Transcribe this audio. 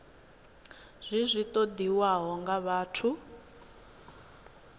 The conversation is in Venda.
zwi zwi ṱoḓiwaho nga vhathu